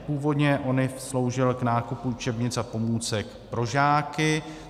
Původně ONIV sloužil k nákupu učebnic a pomůcek pro žáky.